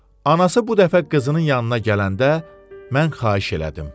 Anası bu dəfə qızının yanına gələndə mən xahiş elədim.